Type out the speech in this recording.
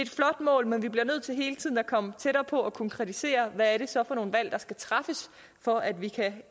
mål men vi bliver nødt til hele tiden at komme tættere på og konkretisere hvad det så er for nogle valg der skal træffes for at vi kan